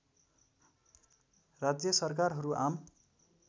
राज्य सरकारहरू आम